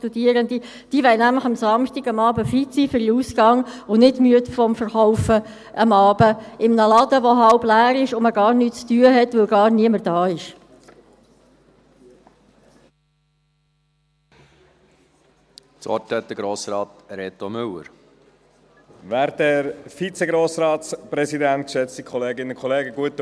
diese wollen nämlich am Samstagabend fit sein für den Ausgang, und nicht müde vom Verkauf am Abend in einem Laden, der halb leer ist und in dem man gar nichts zu tun hat, weil niemand da ist.